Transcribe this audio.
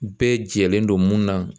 Bɛɛ jɛlen don mun na